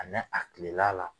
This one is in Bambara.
A nɛ a tilela la